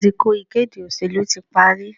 Àsìkò ìkéde òṣèlú tí parí